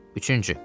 Üçüncü.